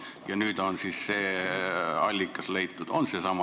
Kas nüüd on siis see allikas leitud?